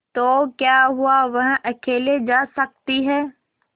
तो क्या हुआवह अकेले जा सकती है